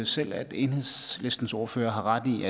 selv at enhedslistens ordfører har ret i